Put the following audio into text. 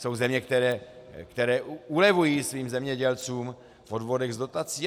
Jsou země, které ulevují svým zemědělcům v odvodech z dotací.